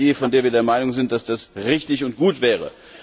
Eine Idee, von der wir der Meinung sind, dass sie richtig und gut wäre.